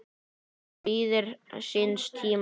sem bíður síns tíma